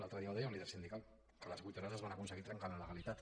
l’altre dia ho deia un líder sindical que les vuit hores es van aconseguir trencant la legalitat